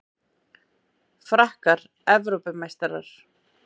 Frakkar Evrópumeistarar